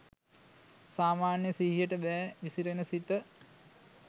සාමාන්‍ය සිහියට බෑ විසිරෙන සිත